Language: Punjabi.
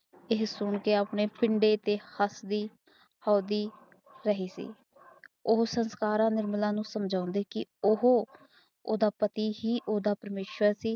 ਯੇ ਸੁਣਕੇ ਹੱਸਦੀ ਰਹੀ ਸੀ ਉਹ ਸਰਕਾਰ ਨਿਰਮਲ ਨੂੰ ਸਮਝਦੀ ਕੇ ਉਹ ਓਦਾਂ ਪਤੀ ਹੀ ਉਸਦਾ ਪ੍ਰਮੇਸ਼ਵਰ ਸੀ